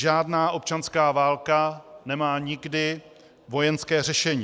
Žádná občanská válka nemá nikdy vojenské řešení.